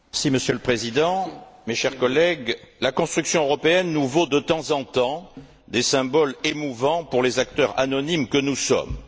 Monsieur le Président, mes chers collègues, la construction européenne nous vaut de temps en temps des symboles émouvants pour les acteurs anonymes que nous sommes.